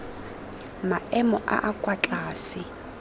maemo a a kwa tlase